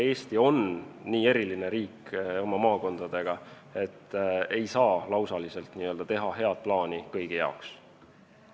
Eesti oma maakondadega on nii eriline riik, et ei saa teha head lausalist plaani kõigi jaoks.